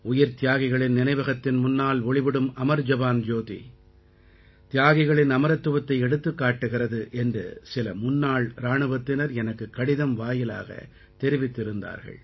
உயிர்த்தியாகிகளின் நினைவகத்தின் முன்னால் ஒளிவிடும் அமர் ஜவான் ஜோதி தியாகிகளின் அமரத்துவத்தை எடுத்துக்காட்டுகிறது என்று சில முன்னாள் இராணுவத்தினர் எனக்குக் கடிதம் வாயிலாகத் தெரிவித்திருந்தார்கள்